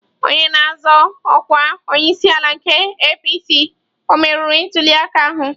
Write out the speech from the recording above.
Onye na-azọ ọkwa onyeisiala nke APC ọ meriri ntuliaka ahụ.